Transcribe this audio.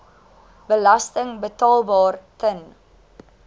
belasting betaalbaar ten